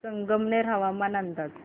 संगमनेर हवामान अंदाज